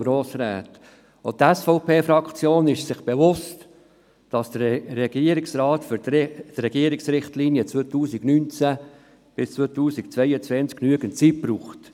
Auch die SVP-Fraktion ist sich bewusst, dass der Regierungsrat für die Regierungsrichtlinien 2019–2022 genügend Zeit benötigt.